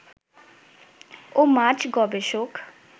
ও মাছ গবেষক